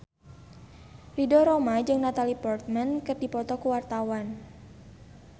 Ridho Roma jeung Natalie Portman keur dipoto ku wartawan